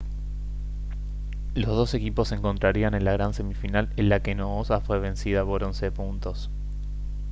los dos equipos se encontrarían en la gran semifinal en la que noosa fue vencida por 11 puntos